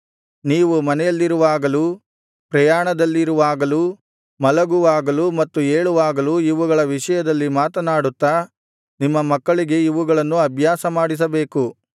ನೀವು ಮನೆಯಲ್ಲಿರುವಾಗಲೂ ಪ್ರಯಾಣದಲ್ಲಿರುವಾಗಲೂ ಮಲಗುವಾಗಲೂ ಮತ್ತು ಏಳುವಾಗಲೂ ಇವುಗಳ ವಿಷಯದಲ್ಲಿ ಮಾತನಾಡುತ್ತಾ ನಿಮ್ಮ ಮಕ್ಕಳಿಗೆ ಇವುಗಳನ್ನು ಅಭ್ಯಾಸಮಾಡಿಸಬೇಕು